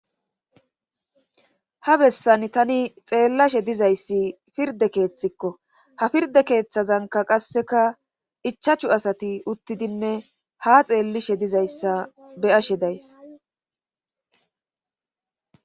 ha bessan tani xeellashe dizayssi pirde keeththikko ha pirde keeththazanka qasseka ichachu asati uttidinne ha xeellishe dizayssa beyashe days